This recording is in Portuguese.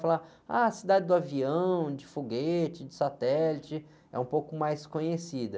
Falam, ah, a cidade do avião, de foguete, de satélite, é um pouco mais conhecida.